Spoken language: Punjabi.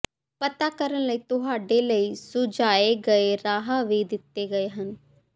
ਪਤਾ ਕਰਨ ਲਈ ਤੁਹਾਡੇ ਲਈ ਸੁਝਾਏ ਗਏ ਰਾਹ ਵੀ ਦਿੱਤੇ ਗਏ ਹਨ